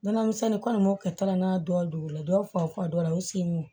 Nɔnɔ misɛnnin kɔni m'o kɛ taara n'a dɔw la dɔw fa dɔw la u sen don